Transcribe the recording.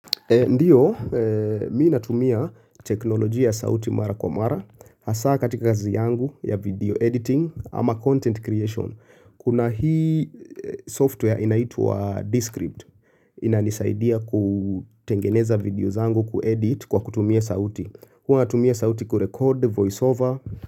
Ndiyo, mii natumia teknolojia ya sauti mara kwa mara, hasa katika kazi yangu ya video editing ama content creation. Kuna hii software inaitwa Descript, inanisaidia kutengeneza videos zangu kuedit kwa kutumia sauti. Huwa natumia sauti kurekod voiceover.